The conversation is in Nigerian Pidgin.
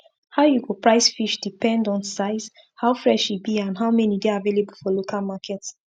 how you go price fish depend on size how fresh e be and how many dey available for local market